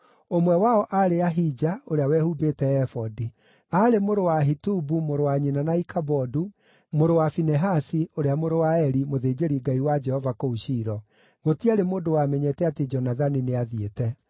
ũmwe wao aarĩ Ahija, ũrĩa wehumbĩte ebodi. Aarĩ mũrũ wa Ahitubu mũrũ wa nyina na Ikabodu, mũrũ wa Finehasi, ũrĩa mũrũ wa Eli, mũthĩnjĩri-Ngai wa Jehova kũu Shilo. Gũtiarĩ mũndũ wamenyete atĩ Jonathani nĩathiĩte.